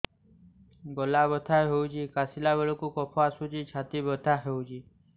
ଗଳା ବଥା ହେଊଛି କାଶିଲା ବେଳକୁ କଫ ଆସୁଛି ଛାତି ବଥା ହେଉଛି